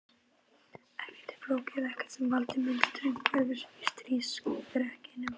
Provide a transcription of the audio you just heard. Ekkert of flókið, ekkert sem valda myndi straumhvörfum í stríðsrekstrinum.